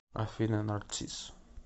афина нарцисс